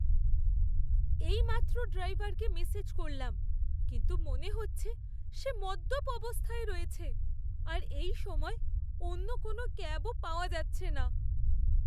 এইমাত্র ড্রাইভারকে মেসেজ করলাম কিন্তু মনে হচ্ছে সে মদ্যপ অবস্থায় রয়েছে আর এই সময়ে অন্য কোনও ক্যাবও পাওয়া যাচ্ছে না।